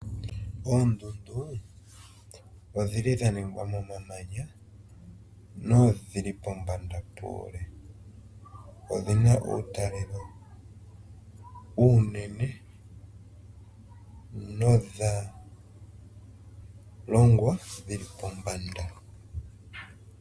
Oondundu odhi li dha ningwa momamanya, nodhi li pombanda puule. Odhi na uutalelo uunene nodha longwa dhi li pombanda.